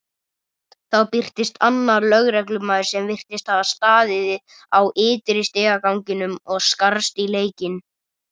Þá birtist annar lögreglumaður sem virtist hafa staðið á ytri stigaganginum og skarst í leikinn.